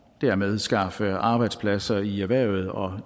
dermed skaffe arbejdspladser i erhvervet og